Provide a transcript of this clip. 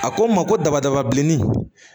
A ko n ma ko daba daba bilenni